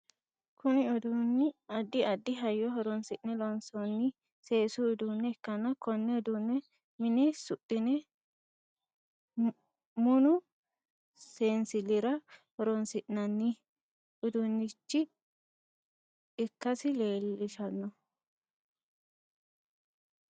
Kunni uduunni addi addi hayyo horoonsi'ne loonsoonni seesu uduune ikanna konne uduune minne suxine munnu seensilira horoonsi'nanni uduunichi ikasi leelishano.